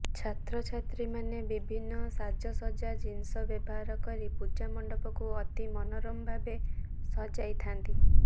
ଛାତ୍ରଛାତ୍ରୀମାନେ ବିଭିନ୍ନ ସାଜସଜ୍ଜା ଜିନିଷ ବ୍ୟବହାର କରି ପୂଜାମଣ୍ଡପକୁ ଅତି ମନୋରମ ଭାବେ ସଜାଇ ଥାଆନ୍ତି